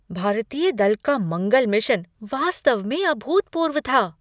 भारतीय दल का मंगल मिशन वास्तव में अभूतपूर्व था!